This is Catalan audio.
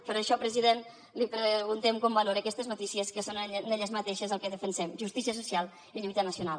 per això president li preguntem com valora aquestes notícies que són en elles mateixes el que defensem justícia social i lluita nacional